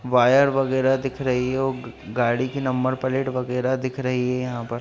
--wire वगैरा दिख रही हैऔर गाड़ी की नंबर प्लेट वगैरा दिख रही हैं यहां पर--